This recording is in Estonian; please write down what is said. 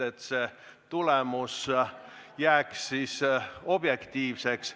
Nii jääb hääletus objektiivseks.